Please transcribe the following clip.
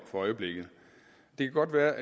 det kunne være